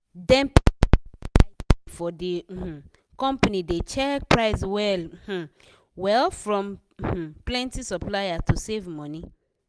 dem people wey dey buy thing for de um company dey check price well um well from um plenti supplier to save money.